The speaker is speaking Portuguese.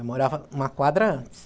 Eu morava uma quadra antes.